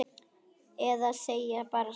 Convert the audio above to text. Eða segja bara satt?